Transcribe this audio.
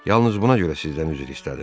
Yalnız buna görə sizdən üzr istədim.